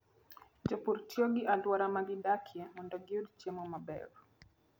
Jopur tiyo gi alwora ma gidakie mondo giyud chiemo maber.